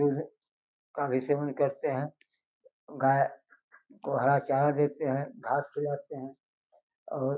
दूध का भी सेवन करते हैं गाय को हरा चारा देते हैं घास खिलाते हैं।